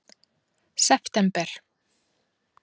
september